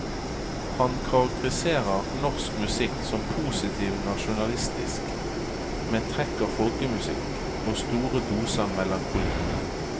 Han karakteriserer norsk musikk som positiv nasjonalistisk, med trekk av folkemusikk og store doser melankoli.